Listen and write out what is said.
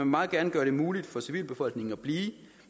meget gerne gøre det muligt for civilbefolkningen at blive